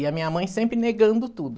E a minha mãe sempre negando tudo.